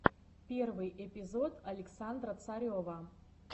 первый эпизод александра царева